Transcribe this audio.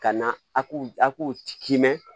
Ka na a k'u kimɛ